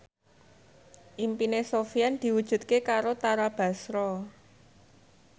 impine Sofyan diwujudke karo Tara Basro